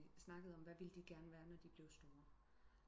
Vi snakkede om hvad ville de geren være når de bliver store